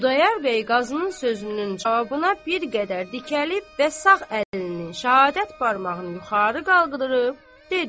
Xudayar bəy Qazının sözünün cavabına bir qədər dikəlib və sağ əlinin şəhadət barmağını yuxarı qaldırıb dedi: